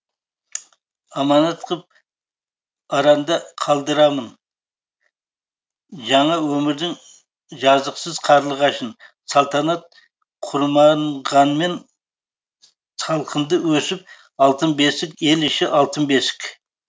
аманат қып аранда қалдырамын жаңа өмірдің жазықсыз қарлығашын салтанат құрмағанмен салқында өсіп алтын бесік ел іші алтын бесік